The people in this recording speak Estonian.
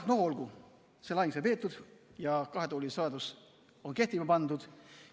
No olgu, see lahing sai peetud ja kahe tooli seadus on kehtima pandud.